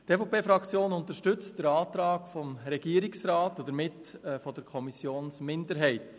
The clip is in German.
Die EVP-Fraktion unterstützt den Antrag des Regierungsrats und somit den Antrag der Kommissionsminderheit.